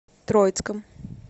троицком